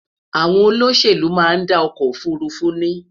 àwọn olóṣèlú má n dá ọkọ òfurufú ní